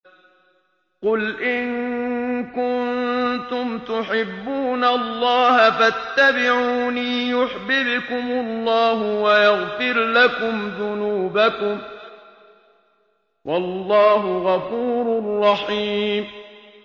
قُلْ إِن كُنتُمْ تُحِبُّونَ اللَّهَ فَاتَّبِعُونِي يُحْبِبْكُمُ اللَّهُ وَيَغْفِرْ لَكُمْ ذُنُوبَكُمْ ۗ وَاللَّهُ غَفُورٌ رَّحِيمٌ